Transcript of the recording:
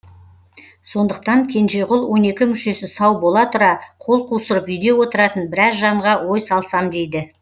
сондықтан кенжеғұл он екі мүшесі сау бола тұра қол қусырып үйде отыратын біраз жанға ой салсам дейді